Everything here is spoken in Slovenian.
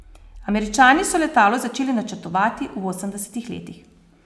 Američani so letalo začeli načrtovati v osemdesetih letih.